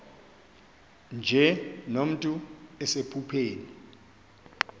nje nomntu osephupheni